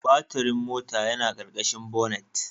Baturin mota yana ƙarƙashin bonnet.